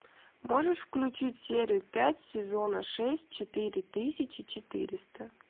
можешь включить серию пять сезона шесть четыре тысячи четыреста